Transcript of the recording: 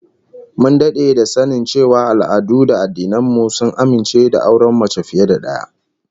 Mun dade da sanin cewa al'adu da addinan mu sun amince da auren mace fiye da daya